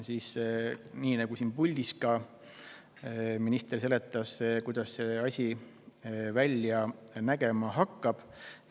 Minister selgitas, nii nagu ka meile täna siin puldis, kuidas see asi välja nägema hakkab.